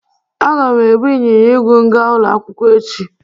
Aga m ebu ịnyịnya igwe m ga ulo akwukwo echi.